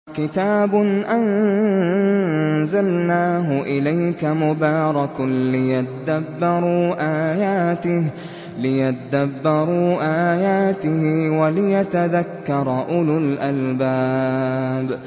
كِتَابٌ أَنزَلْنَاهُ إِلَيْكَ مُبَارَكٌ لِّيَدَّبَّرُوا آيَاتِهِ وَلِيَتَذَكَّرَ أُولُو الْأَلْبَابِ